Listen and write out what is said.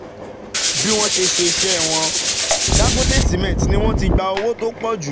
Bí wọ́n ṣe ṣe iṣẹ́ wọn Dangote Cement ni wọ́n ti gba owó tó pọ̀ jù